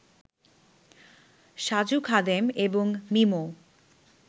সাজু খাদেম এবং মিমো